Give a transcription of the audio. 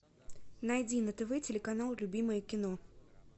найди на тв телеканал любимое кино